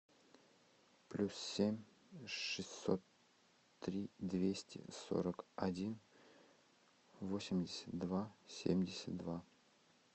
плюс семь шестьсот три двести сорок один восемьдесят два семьдесят два